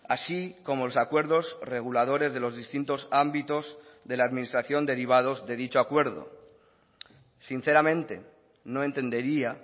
así como los acuerdos reguladores de los distintos ámbitos de la administración derivados de dicho acuerdo sinceramente no entendería